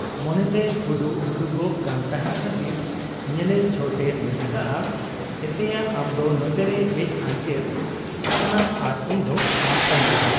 ᱢᱚᱱᱮᱛᱮᱭ ᱦᱩᱰᱩᱜ ᱦᱩᱰᱩᱜᱚᱜ ᱠᱟᱱ ᱛᱟᱦᱮᱸᱫ ᱠᱷᱟᱹᱛᱤᱨ ᱧᱮᱞᱮ ᱪᱷᱚᱴ ᱮ ᱢᱮᱱ ᱟᱠᱟᱜ ᱟ, 'ᱮᱛᱮᱭᱟ ᱟᱢᱫᱚ ᱱᱚᱛᱮᱨᱮ ᱦᱮᱡ ᱟᱰᱜᱮᱨ ᱟᱠᱟᱱᱟᱢ ᱟᱨ ᱤᱧᱫᱚ ᱟᱢ ᱛᱟᱺᱜᱤᱨᱮ ?